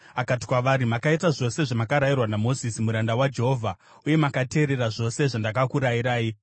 akati kwavari, “Makaita zvose zvamakarayirwa naMozisi muranda waJehovha uye makateerera zvose zvandakakurayirai.